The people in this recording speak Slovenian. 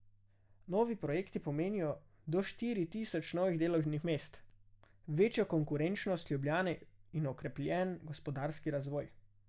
Novi projekti pomenijo do štiri tisoč novih delovnih mest, večjo konkurenčnost Ljubljane in okrepljen gospodarski razvoj.